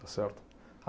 Está certo?